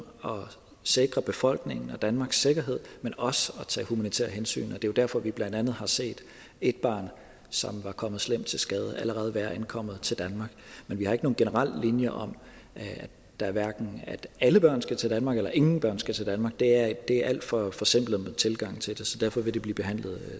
sikre befolkningen og danmarks sikkerhed men også at tage humanitære hensyn det er jo derfor vi blandt andet har set et barn som var kommet slemt til skade allerede være ankommet til danmark men vi har ikke nogen generel linje om at alle børn skal til danmark eller at ingen børn skal til danmark det er en alt for forsimplet tilgang til det så derfor vil det blive behandlet